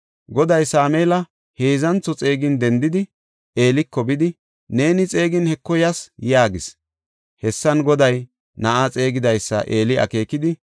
Goday Sameela heedzantho xeegin dendidi, Eeliko bidi, “Neeni xeegin Heko yas” yaagis. Hessan Goday na7aa xeegidaysa Eeli akeekidi,